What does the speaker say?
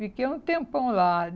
Fiquei um tempão lá.